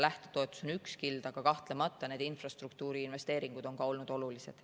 Lähtetoetus on üks kild, aga kahtlemata on ka infrastruktuuriinvesteeringud olnud olulised.